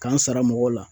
K'an sara mɔgɔw la